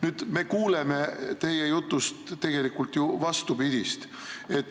Teie jutust me kuuleme tegelikult ju vastupidist.